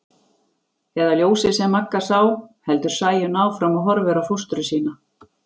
Eða ljósið sem Magga sá, heldur Sæunn áfram og horfir á fóstru sína.